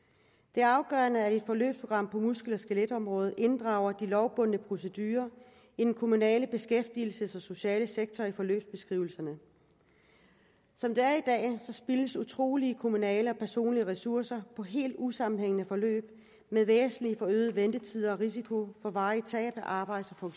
det afgørende er at et forløbsprogram på muskel og skeletområdet inddrager de lovbundne procedurer i den kommunale beskæftigelsessektor og sociale sektor i forløbsbeskrivelserne som det er i dag spildes utrolige kommunale og personlige ressourcer på helt usammenhængende forløb med væsentlige forøgede ventetider og risiko for varigt tab af arbejds og